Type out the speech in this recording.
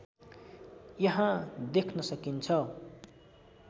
यहाँ देख्न सकिन्छ